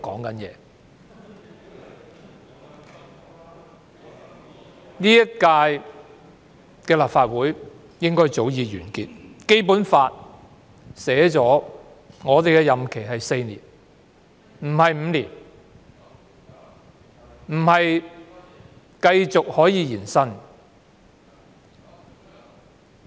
本屆立法會的任期早該完結，因為《基本法》訂明本會的任期是4年而非5年，亦不能延伸。